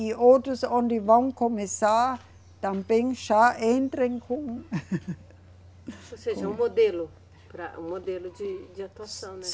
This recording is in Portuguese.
E outros onde vão começar também já entram com Ou seja, um modelo para, um modelo de, de atuação, né?